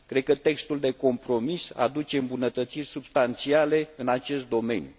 Cred că textul de compromis aduce îmbunătățiri substanțiale în acest domeniu.